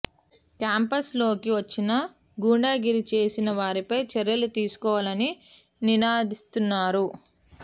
campus లోకి వచ్చిన గుండాగిరీ చేసిన వారిపై చర్యలు తీసుకోవాలని నినదిస్తున్నారు